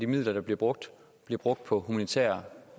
midler der bliver brugt bliver brugt på humanitær